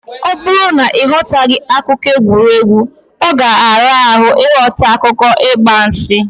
Ọ bụrụ na ị ghọtaghị akụkọ egwuregwu, ọ ga-ara ahụ ịghọta akụkọ ịgbansị.